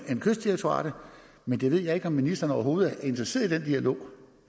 men jeg ved ikke om ministeren overhovedet er interesseret i den dialog